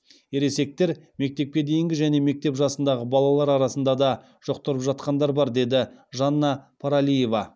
ересектер мектепке дейінгі және мектеп жасындағы балалар арасында да жұқтырып жатқандар бар деді жанна пралиева